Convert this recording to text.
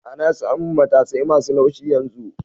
Ana samun matasai masu laushi yanzu